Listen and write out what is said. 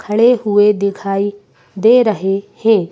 खड़े हुए दिखाई दे रहे हैं।